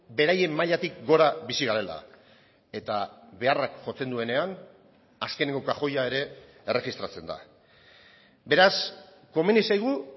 beraien mailatik gora bizi garela eta beharrak jotzen duenean azkeneko kajoia ere erregistratzen da beraz komeni zaigu